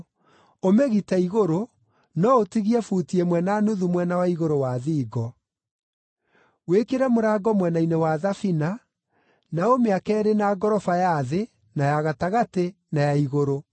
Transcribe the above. Ũmĩgite igũrũ, no ũtigie buti ĩmwe na nuthu mwena wa igũrũ wa thingo. Wĩkĩre mũrango mwena-inĩ wa thabina, na ũmĩake ĩrĩ na ngoroba ya thĩ, na ya gatagatĩ, na ya igũrũ.